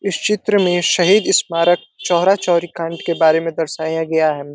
इस चित्र में शहीद स्मारक चौरा चोरी काण्ड के बारे में दर्शाया गया हे।